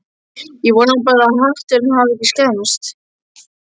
Ég vona bara að hatturinn hafi ekki skemmst